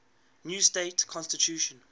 new state constitution